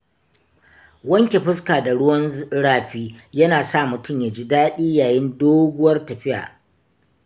Wanke fuska da ruwan rafi yana sa mutum ya ji daɗi yayin doguwar tafiya.